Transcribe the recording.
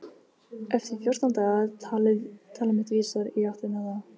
Eftir fjórtán daga- talið mitt vísar í áttina þá.